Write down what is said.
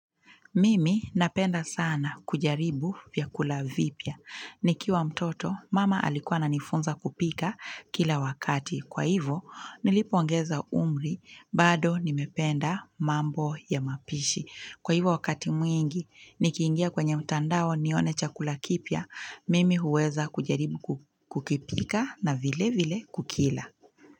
Mimi napenda sana kujaribu vyakula vipya. Nikiwa mtoto, mama alikuwa ananifunza kupika kila wakati. Kwa hivo, nilipoongeza umri, bado nimependa mambo ya mapishi. Kwa hivo wakati mwingi, nikiingia kwenye mtandao nione chakula kipya. Mimi huweza kujaribu kukipika na vilevile kukila.